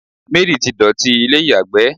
Mary ti dotì ilé iyagbe